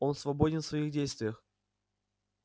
он свободен в своих действиях